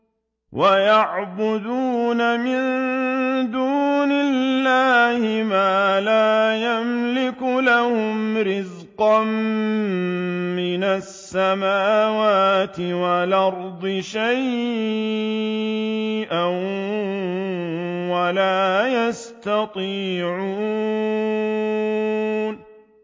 وَيَعْبُدُونَ مِن دُونِ اللَّهِ مَا لَا يَمْلِكُ لَهُمْ رِزْقًا مِّنَ السَّمَاوَاتِ وَالْأَرْضِ شَيْئًا وَلَا يَسْتَطِيعُونَ